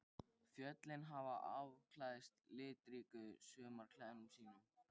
Fjöllin hafa afklæðst litríkum sumarklæðum sínum.